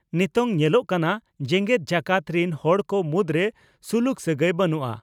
ᱱᱤᱛᱚᱝ ᱧᱮᱞᱚᱜ ᱠᱟᱱᱟ, ᱡᱮᱜᱮᱛ ᱡᱟᱠᱟᱛ ᱨᱤᱱ ᱦᱚᱲ ᱠᱚ ᱢᱩᱫᱽᱨᱮ ᱥᱩᱞᱩᱠ ᱥᱟᱹᱜᱟᱹᱭ ᱵᱟᱹᱱᱩᱜᱼᱟ ᱾